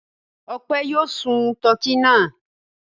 Ọpẹ́ yóò sun tọkí náà.